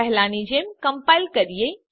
પહેલાની જેમ કમ્પાઈલ કરીએ